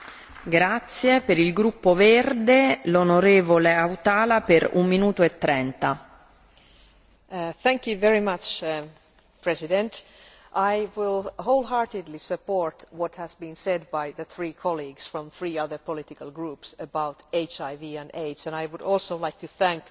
Madam President, I will wholeheartedly support what has been said by the three colleagues from three other political groups about HIV and AIDS and I would also like to thank the High Representative for her approach to this question.